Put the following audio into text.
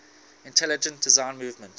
intelligent design movement